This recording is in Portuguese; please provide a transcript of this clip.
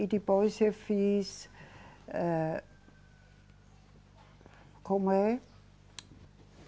E depois eu fiz, eh, como é?